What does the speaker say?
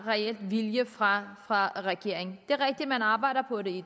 reel vilje fra fra regeringen det er rigtigt at man arbejder på det